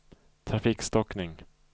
trafikstockning